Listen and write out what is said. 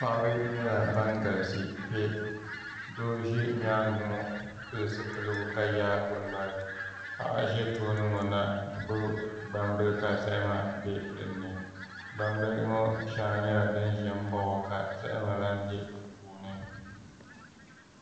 Paɣaba nyɛla ban galisi kpɛ doo ʒɛ nyaangi ŋɔ pili zipiligu ka yaagi o nolI paɣa ʒɛ toobi ŋɔ na n gbubi gbambili ka zahama bɛ dinni gbambihi ŋɔ shɛŋa nyɛla din ƶɛ n baɣa o ka zahama lahi bɛ di puuni